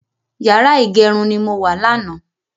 Yàrá ìgẹrun ni mo wà lánàá